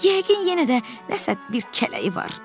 Yəqin yenə də nəsə bir kələyi var.